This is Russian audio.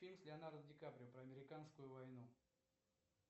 фильм с леонардо ди каприо про американскую войну